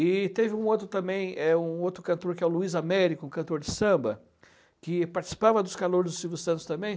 E teve um outro também, é um outro cantor, que é o Luiz Américo, cantor de samba, que participava dos Calouros do Silvio Santos também.